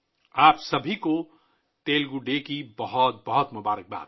آپ سب کو تیلگو ڈے پر بہت بہت مبارکباد